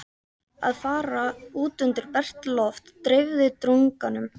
Að fara út undir bert loft dreifði drunganum.